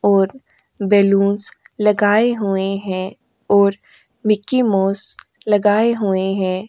और बैलून्स लगाए हुए हैं और मिक्की माउस लगाए हुए हैं।